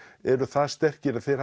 eru það sterkir að þeir